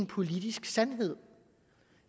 politisk sandhed